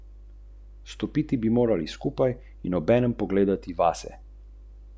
Predlog zakona ureja šest ministrstev, ki so v spremenjeni strukturi.